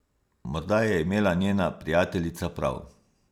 Morda je imela njena prijateljica prav.